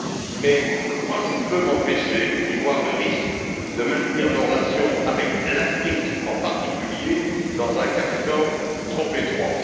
Mais moi, je ne peux m'empêcher d'y voir le risque de maintenir nos relations avec l'Afrique en particulier dans un carcan trop étroit.